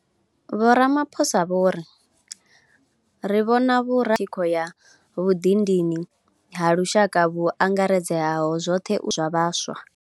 Vho Ramaphosa vho ri, Ri vhona vhurangeli hovhu sa thikho ya vhuḓidini ha lushaka vhu angaredzaho zwoṱhe zwa vhaswa.